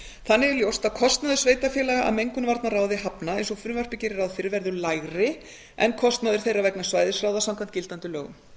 þannig er ljóst að kostnaður sveitarfélaga af mengunarvarnaráði hafna eins og frumvarpið gerir ráð fyrr verður lægri en kostnaður þeirra vegna svæðisráða samkvæmt gildandi lögum